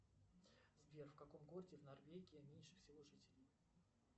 сбер в каком городе в норвегии меньше всего жителей